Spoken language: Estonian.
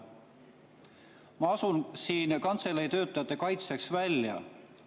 Ma astun siin kantselei töötajate kaitseks välja.